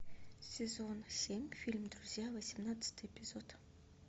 сезон семь фильм друзья восемнадцатый эпизод